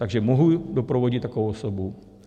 Takže mohu doprovodit takovou osobu?